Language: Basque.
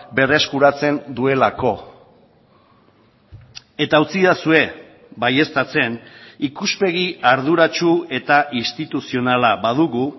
berreskuratzen duelako eta utzidazue baieztatzen ikuspegi arduratsu eta instituzionala badugu